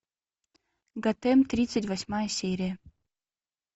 готэм тридцать восьмая серия